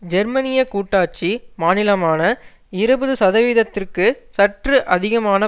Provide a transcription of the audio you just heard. ஜெர்மனிய கூட்டாட்சி மாநிலமான இருபது சதவிகிதத்திற்கு சற்று அதிகமான